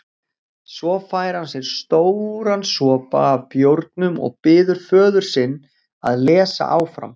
Svo fær hann sér stóran sopa af bjórnum og biður föður sinn að lesa áfram